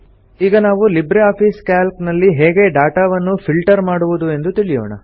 ಈಗ ನಾವು LibreOffice Calc ನಲ್ಲಿ ಹೇಗೆ ಡಾಟಾ ವನ್ನು ಫಿಲ್ಟರ್ ಮಾಡುವುದು ಎಂದು ತಿಳಿಯೋಣ